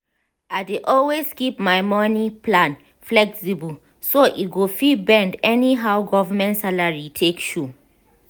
i dey always keep my money plan flexible so e go fit bend anyhow government salary take show.